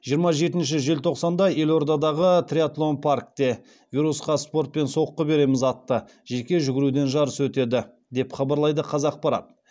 жиырма жетінші желтоқсанда елордадағы триатлон паркте вирусқа спортпен соққы береміз атты жеке жүгіруден жарыс өтеді деп хабарлайды қазақпарат